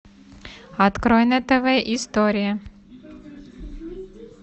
открой на тв история